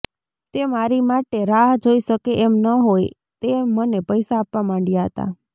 તે મારી માટે રાહ જોઇ શકે એમ ન હોઇ તે મને પૈસા આપવા માંડયા હતા